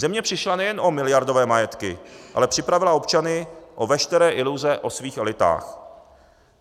Země přišla nejen o miliardové majetky, ale připravila občany o veškeré iluze o svých elitách.